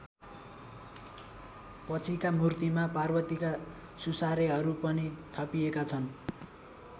पछिका मूर्तिमा पार्वतीका सुसारेहरू पनि थपिएका छन्।